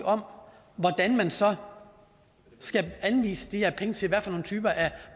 om hvordan man så skal anvise de her penge til hvad for nogle typer af